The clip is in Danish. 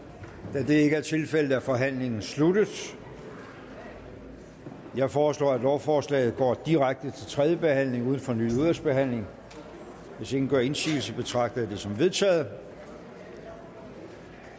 da det ikke er tilfældet er forhandlingen sluttet jeg foreslår at lovforslaget går direkte til tredje behandling uden fornyet udvalgsbehandling hvis ingen gør indsigelse betragter jeg det som vedtaget